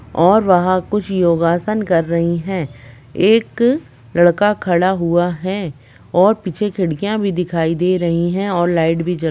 और वहाँं कुछ योगासन कर रही है एक लड़का खड़ा हुआ है और पीछे खिड़कियां भी दिखाई दे रही है और लाइट भी जल --